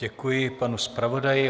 Děkuji panu zpravodaji.